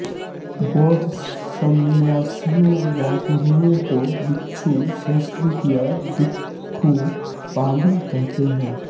बौद्ध सन्यासियों या गुरूओं को भिक्षु संस्कृत या भिक्खु पालि कहते हैं